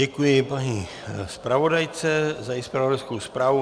Děkuji paní zpravodajce za její zpravodajskou zprávu.